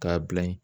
K'a bila ye